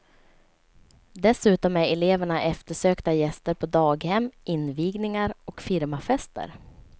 Dessutom är eleverna eftersökta gäster på daghem, invigningar och firmafester.